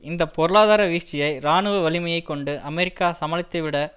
இந்த பொருளாதார வீழ்ச்சியை இராணுவ வலிமையை கொண்டு அமெரிக்கா சமாளித்துவிட